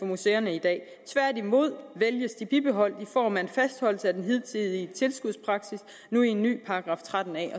museerne i dag tværtimod vælges de bibeholdt i form af en fastholdelse af den hidtidige tilskudspraksis nu en ny § tretten a